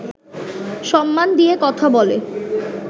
সম্মান দিয়ে কথা বলে